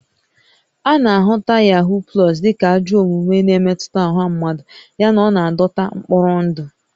A na-ahụta Yahoo Plus dị ka ajọ omume na-emetụta ọha mmadụ yana ọ na-adọta mkpọrọ ndụ